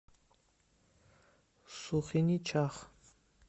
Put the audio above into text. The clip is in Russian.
сухиничах